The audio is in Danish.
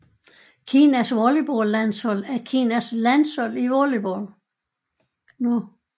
Kinas volleyballlandshold er Kinas landshold i volleyball